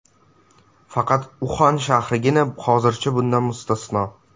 Faqat Uxan shahrigina hozircha bundan mustasno.